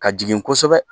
Ka jigin kosɛbɛ